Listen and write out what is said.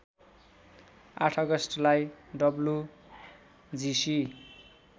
८ अगस्टलाई डब्लुजिसि